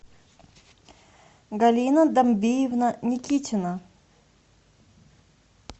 галина дамбиевна никитина